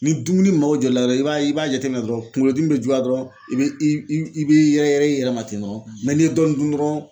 Ni dumuni ma jɔ i la dɔrɔn i b'a i b'a jateminɛ dɔrɔn kungolo dimi bɛ juguya dɔrɔn i bɛ i bɛ yɛrɛ yɛrɛ i yɛrɛ ma ten dɔrɔn n'i ye dɔɔnin dun dɔrɔn.